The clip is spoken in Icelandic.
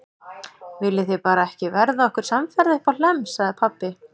Viljið þið bara ekki verða okkur samferða uppá Hlemm, sagði pabbi.